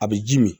A bɛ ji min